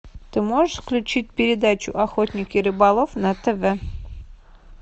ты можешь включить передачу охотник и рыболов на тв